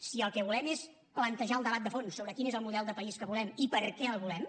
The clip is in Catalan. si el que volem és plantejar el debat de fons sobre quin és el model de país que volem i per què el volem